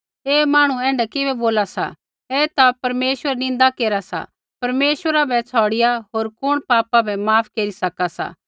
ऐ मांहणु ऐण्ढा किबै बोला सा ऐ ता परमेश्वरै री निन्दा केरा सा परमेश्वरा बै छ़ौड़िआ होर कुण पापा बै माफ केरी सका सा